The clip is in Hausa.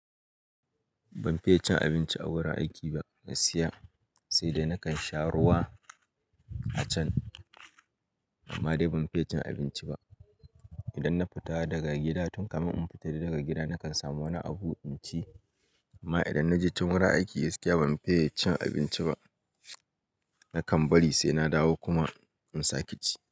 Ban fiye cin abinci a wurin aiki ba gaskiya, sai dai nakan sha ruwa a can amma dai ban fiye cin abinci ba. Idan na fita daga gida tun kafin in fita daga gida nakan samu wani abu in ci amma idan na je can wurin aiki gaskiya ban fiye cin abinci ba. Nakan bari sai na dawo kuma in sake ci.